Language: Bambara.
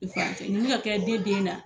nin mi ka kɛ ne den na